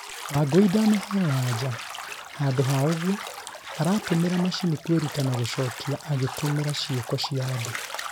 Wangui ndanaheo anja, handũ ha ũgũo aratũmĩra macini kwĩruta na gũcokia agĩtumĩra ciĩko cĩa andũ